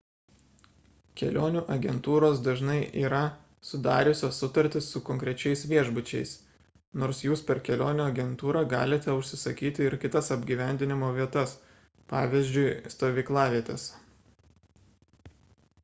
kelionių agentūros dažnai yra sudariusios sutartis su konkrečiais viešbučiais nors jūs per kelionių agentūrą galite užsisakyti ir kitas apgyvendinimo vietas pavyzdžiui stovyklavietes